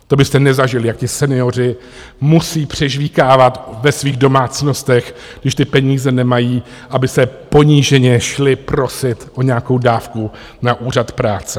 To byste nezažili, jak ti senioři musejí přežvýkávat ve svých domácnostech, když ty peníze nemají, aby se poníženě šli prosit o nějakou dávku na Úřad práce.